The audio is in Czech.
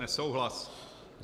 Nesouhlas.